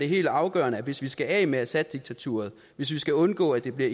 helt afgørende at hvis vi skal af med assaddiktaturet hvis vi skal undgå at det bliver